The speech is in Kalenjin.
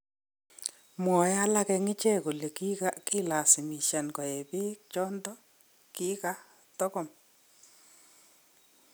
Mwae alage en ichek kole kokilasimishan koe beek chondo kikatokom